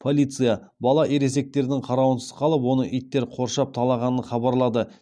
полиция бала ересектердің қарауынсыз қалып оны иттер қоршап талағанын хабарлады